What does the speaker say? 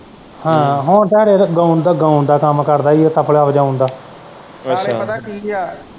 ਹਾਂ ਹੁਣ ਤਾਂ ਹਰੇ ਇਹ ਗਾਉਣ ਦਾ ਕੰਮ ਕਰਦਾ ਈ ਇਹ ਤਬਲਾ ਵਜਾਉਣ ਦਾ ਅੱਛਾ ਨਾਲੇ ਪਤਾ ਕੀ ਆ।